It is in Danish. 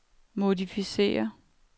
modificér